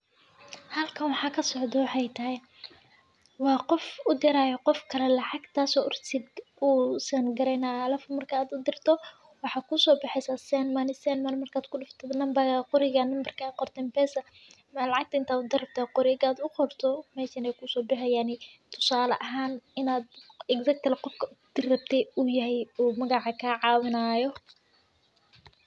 Haalka wax xagga soo noocay. Tae waa qof u diraya qof kale lacag taasi oo urur si uu sen galaynaa laf muri ka dirto. Waxa kuusoo bixisa send money send money markaad ku laftida nambarka qoriga, nambarka qortin bessa meel caddaynta u dirato qoriga aad u qorto meeshaan ay kuuso dhahay yaani tusaale ahaan inaad igdaytay laqod diribtey u yahay u magacay ka caawinayo.